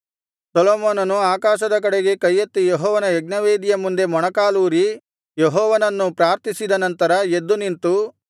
ಸೊಲೊಮೋನನು ಆಕಾಶದ ಕಡೆಗೆ ಕೈಯೆತ್ತಿ ಯೆಹೋವನ ಯಜ್ಞವೇದಿಯ ಮುಂದೆ ಮೊಣಕಾಲೂರಿ ಯೆಹೋವನನ್ನು ಪ್ರಾರ್ಥಿಸಿದ ನಂತರ ಎದ್ದು ನಿಂತು